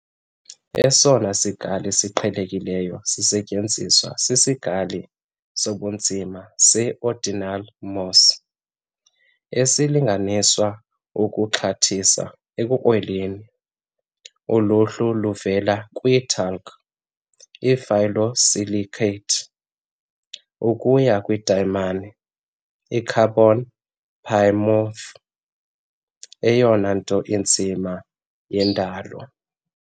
Esona sikali siqhelekileyo sisetyenziswa sisikali sobunzima se-ordinal Mohs, esilinganisa ukuxhathisa ekukrweleni. Uluhlu luvela kwi-talc, i-phyllosilicate, ukuya kwidayimane, i-carbon polymorph eyona nto inzima yendalo.